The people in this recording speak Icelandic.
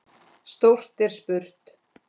Stórt er spurt.